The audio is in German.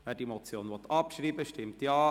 Wer diese abschreiben will, stimmt Ja,